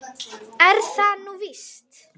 Er það nú víst ?